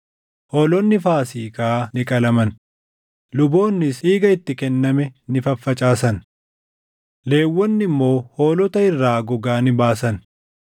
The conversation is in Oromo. Hoolonni Faasiikaa ni qalaman; luboonnis dhiiga itti kenname ni faffacaasan; Lewwonni immoo hoolota irraa gogaa ni baasan.